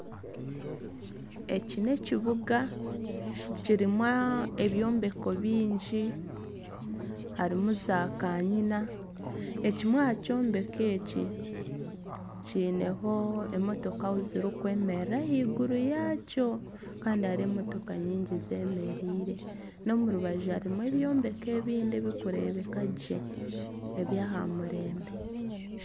Eki n'ekibuga kirimu ebyombeko bingi kirimu za kanyina, ekimwe aha kyombeko eki kiineho ahu emotoka zirikwemerera ahaiguru yakyo kandi hariho emotoka nyingi zeemereire n'omu rubaju harimu ebyombeko ebindi ebirikureebeka gye eby'ahamurembe